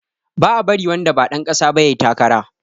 Ba a bari wanda ba ɗan ƙasa ba yayi takara